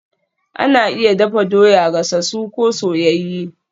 Ana iya dafa doya, gasasu ko soyayye